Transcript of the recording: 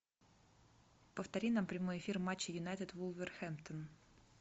повтори нам прямой эфир матча юнайтед вулверхэмптон